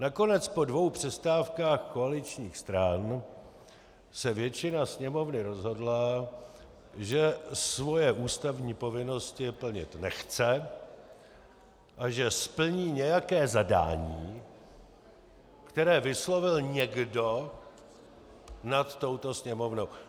Nakonec po dvou přestávkách koaličních stran se většina sněmovny rozhodla, že svoje ústavní povinnosti plnit nechce a že splní nějaké zadání, které vyslovil někdo nad touto Sněmovnou.